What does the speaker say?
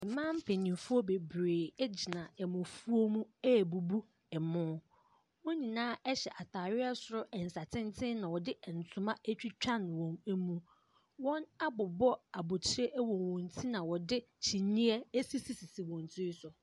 Mmaa mpanimfoɔ bebree gyina ɛmofoɔ mu ɛrebubu ɛmo. Wɔn nyinaa hyɛ ntaareɛ soro nsatenten na wɔde ntoma atwitwa wɔn mu. Wɔabobɔ abɔtire wɔ wɔn ti na wɔde kyinie asisisisi wɔn tiri so.